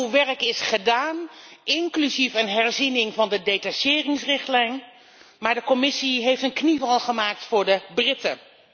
Uw werk is gedaan, inclusief een herziening van de detacheringsrichtlijn. Maar de Commissie heeft een knieval gemaakt voor de Britten.